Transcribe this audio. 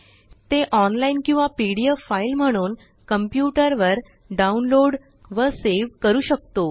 ते ऑनलाईन किंवा PDF file म्हणून कॉम्प्युटर वर डाउनलोड व saveकरू शकतो